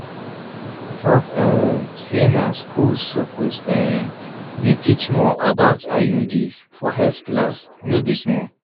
i go talk um say na schools suppose um dey teach more about iuds for health class no be small